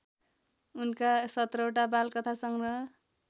उनका १७ वटा बालकथासंग्रह